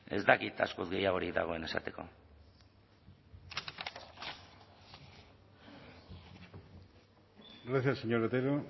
ez dakit askoz gehiagorik dagoen esateko gracias señor otero